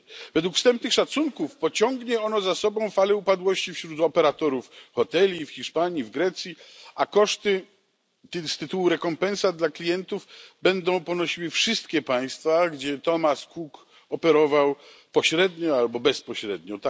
Według wstępnych szacunków pociągnie ono za sobą falę upadłości wśród operatorów hoteli w Hiszpanii, w Grecji a koszty z tytułu rekompensat dla klientów będą ponosiły wszystkie państwa, gdzie Thomas Cook działał pośrednio albo bezpośrednio.